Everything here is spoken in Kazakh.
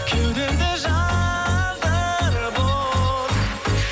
кеудемде жандырып от